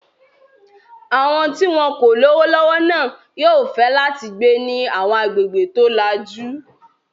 Àwọn tí wọn kò lówó lọ́wọ́ náà yóò fẹ́ láti gbé ní àwọn agbègbè tó lajú.